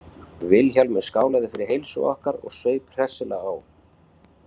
Vilhjálmur skálaði fyrir heilsu okkar og saup hressilega á.